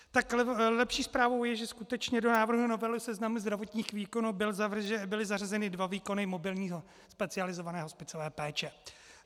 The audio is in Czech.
Tak lepší zprávou je, že skutečně do návrhu novely seznamu zdravotních výkonů byly zařazeny dva výkony mobilní specializované hospicové péče.